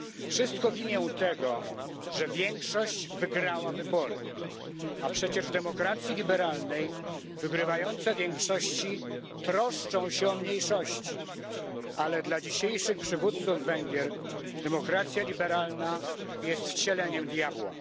Wszystko w imię tego, że większość wygrała wybory, a przecież w demokracji liberalnej wygrywające większości troszczą się o mniejszości, ale dla dzisiejszych przywódców Węgier demokracja liberalna jest wcieleniem diabła.